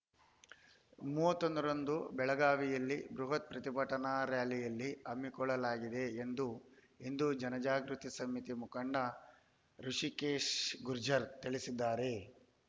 ಮೂವತ್ತೊಂದರಂದು ಬೆಳಗಾವಿಯಲ್ಲಿ ಬೃಹತ್‌ ಪ್ರತಿಭಟನಾ ರಾರ‍ಯಲಿ ಹಮ್ಮಿಕೊಳ್ಳಲಾಗಿದೆ ಎಂದು ಹಿಂದು ಜನಜಾಗೃತಿ ಸಮಿತಿ ಮುಖಂಡ ಋುಷಿಕೇಶ ಗುರ್ಜರ್‌ ತಿಳಿಸಿದ್ದಾರೆ